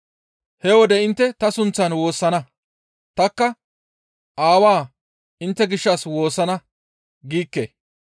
He wode intte ta sunththan woossana; tanikka, ‹Aawaa intte gishshas woossana› giikke.